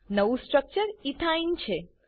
નવું structure ethene ethyne છે